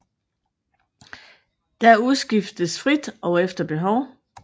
Der udskiftes frit og efter behov